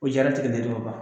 U jaratigɛlen don ka ban.